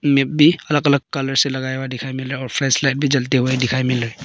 इनमें भी अलग अलग कलर से लगाया हुआ दिखाई मिल रहा है और फ्लैश लाइट जलता हुआ दिखाई मिल रहा है।